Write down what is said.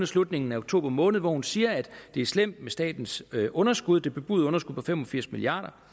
slutningen af oktober måned hvor hun siger at det er slemt med statens underskud det bebudede underskud på fem og firs milliard